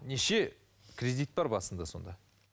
неше кредит бар басында сонда